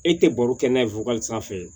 E tɛ baro kɛ n'a ye wili sanfɛ